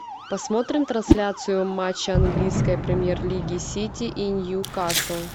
посмотрим трансляцию матча английской премьер лиги сити и ньюкасл